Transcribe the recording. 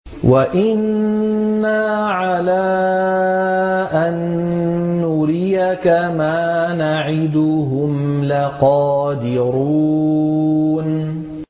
وَإِنَّا عَلَىٰ أَن نُّرِيَكَ مَا نَعِدُهُمْ لَقَادِرُونَ